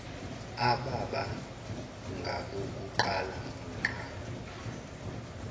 ababa ngabokuqala ngqa